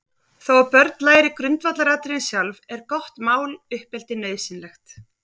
Þó að börnin læri grundvallaratriðin sjálf, er gott máluppeldi nauðsynlegt.